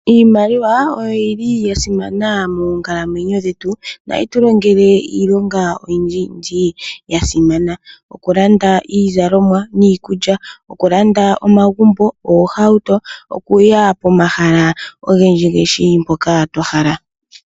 Iimaliwa oyili ya simana moonkalamwenyo dhetu no hayi tu longele iilonga oyindji yindji ya simana. oku landa iizalomwa niikulya, oku landa omagumbo ,oohatuto, okuya pomahala ogendji gendji mpoka twa hala.